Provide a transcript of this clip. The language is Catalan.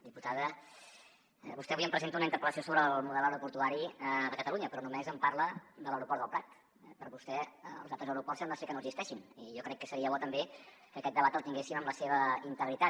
diputada vostè avui em presenta una interpel·lació sobre el model aeroportuari de catalunya però no·més em parla de l’aeroport del prat eh per vostè els altres aeroports sembla ser que no existeixin i jo crec que seria bo també que aquest debat el tinguéssim en la seva integritat